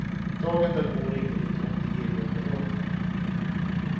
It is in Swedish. Dagen därpå ringde de och erbjöd mig jobb.